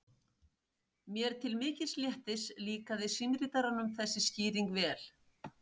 Mér til mikils léttis líkaði símritaranum þessi skýring vel.